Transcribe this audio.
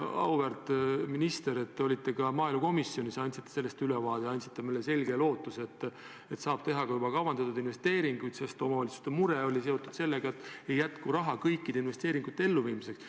Auväärt minister, te olite ka maaelukomisjonis ja andsite asjast ülevaate, te andsite meile selge lootuse, et saab teha ka juba kavandatud investeeringuid, sest omavalitsuste mure oli seotud sellega, et ei jätku raha kõikide investeeringute elluviimiseks.